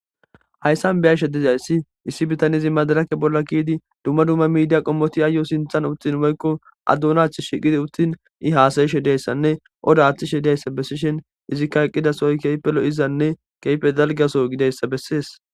Hayssan be'shshe diizayssi issi biitanezi maadirekke bolla keiidi dumma dumma miidiya qommoti ayo sinththan uttidi woykko aa dunnan tishshi gi uttin i hassaishe diizayssanne odda aththishe diizayssa bessishin iizikka eqqidassoy kehhippe loi'izayssane kehippe dalgga giddidayssa besses.